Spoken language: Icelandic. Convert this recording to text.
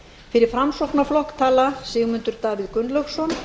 fyrir framsóknarflokk tala sigmundur davíð gunnlaugsson